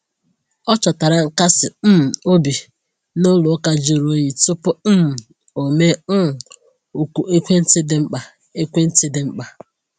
O chọtara nkasi um obi n’ụlọ ụka jụrụ oyi tupu um o mee um oku ekwentị dị mkpa. ekwentị dị mkpa.